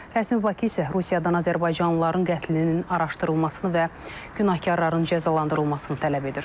Rəsmi Bakı isə Rusiyadan azərbaycanlıların qətlinin araşdırılmasını və günahkarların cəzalandırılmasını tələb edir.